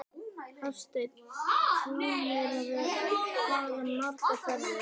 Hafsteinn: Búnir að fara margar ferðir?